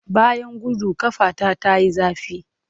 Bayan gudu, ƙafata ta yi zafi.